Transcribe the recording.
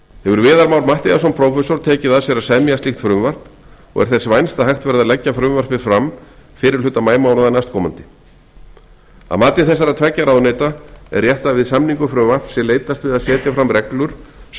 hefur viðar már matthíasson prófessor tekið að sér að semja slíkt frumvarp og er þess vænst að hægt verði að leggja frumvarpið fram fyrri hluta maímánaðar næstkomandi að mati þessara tveggja ráðuneyta er rétt að við samningu frumvarps sé leitast við að setja fram reglur sem